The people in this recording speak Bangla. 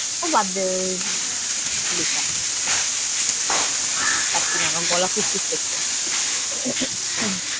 ওহ বাদ দে বেকার। না পারছিনা, আমার গলা খুশখুশ করছে।